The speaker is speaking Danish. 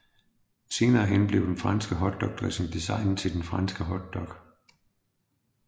Senere hen blev den franske hotdogdressing designet til den franske hotdog